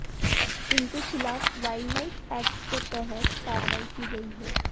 इनके खिलाफ wildlife act के तहत कार्रवाई की गई है